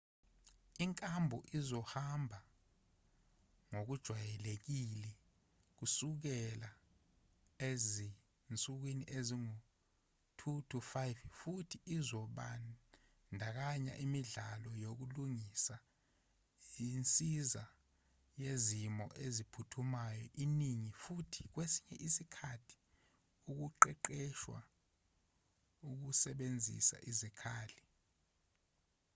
inkambo izohamba ngokujwayelekile kusukela ezinsukwini ezingu-2-5 futhi izobandakanya imidlalo yokulingisa insiza yezimo eziphuthumayo eningi futhi kwesinye isikhathi ukuqeqeshwa ekusebenziseni izikhali .